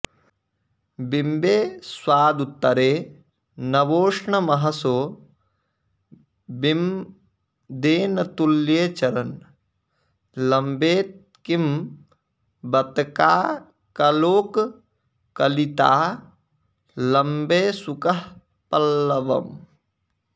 बिम्बे स्वादुतरे नवोष्णमहसो बिम्देन तुल्ये चरन् लम्बेत् किं बत काकलोककलितालम्बे शुकः पल्लवम्